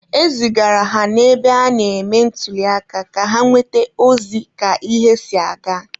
E zigara ha n'ebe a na-eme ntuliaka ka ha nweta ozi ka ihe si aga.